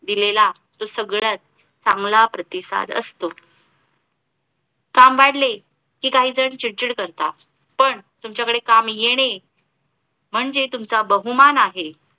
दिलेला तो सगळ्यात चांगला प्रतिसाद असतो. काम वाढले कि काही जण चिडचिड करता, पण तुमचा कडे काम येणे म्हणजे तुमचा बहुमान आहे.